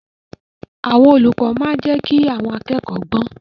Àwọn olùkọ́ máa ń jẹ́ kí àwọn akẹ́kọ̀ọ́ gbọ́n.